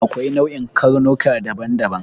Akwai nau'in karnuka daban-daban.